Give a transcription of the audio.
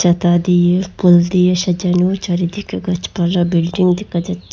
ছাতা দিয়ে ফুল দিয়ে সাজানো চারিদিকে গাছপালা বিল্ডিং দেখা যাচ্ছে।